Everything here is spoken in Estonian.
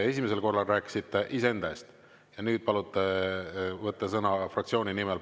Esimesel korral rääkisite iseenda eest ja nüüd palute võtta sõna fraktsiooni nimel.